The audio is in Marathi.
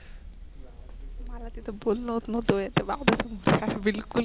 मला तिथं बोलन होत नव्हतंय ते बाबू पण बिलकुल